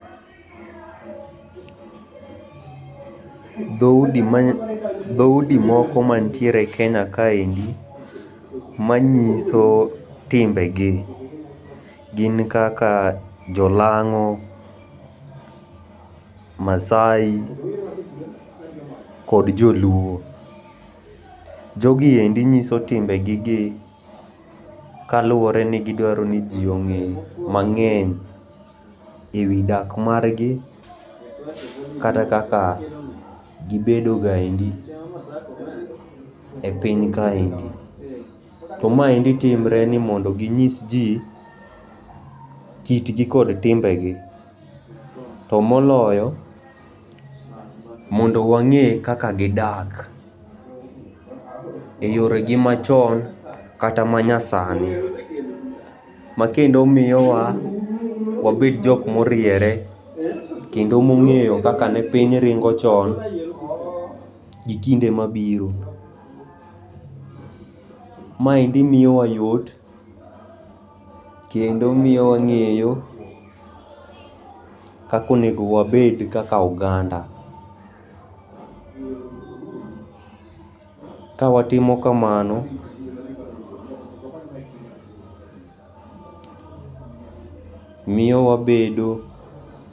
Dhoudi ma, dhoudi moko mantiere Kenya kaendi manyiso timbegi gin kaka jo lang'o, Maasai kod joluo. Jogi endi ng'iso timbe gigi kaluore ni gidwaro ni jii onge mangeny ewi dak margi kata kaka gibedo gaendi e piny kaendi. To maendi timre ni mondo ginyis jii kitgi kod timbegi to moloyo mondo wang'e kaka gidak e yore gi machon kata manyasani. Ma kendo miyowa wabed jok moriere kendo mongeyo kaka ne piny ringo chon gi kinde mabiro. Maendi miyo wa yot kendo miyo wang'eyo kaka onego wabed kaka oganda ka watimo kamano miyo wabedo